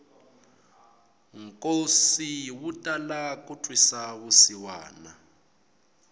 nkosi wu tala ku twisa vusiwana